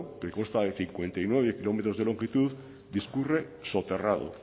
que consta de cincuenta y nueve kilómetros de longitud discurre soterrado